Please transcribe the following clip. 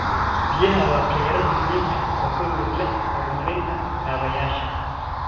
Biyaha waa kheyraad muhiim ah oo ku lug leh horumarinta kaabayaasha.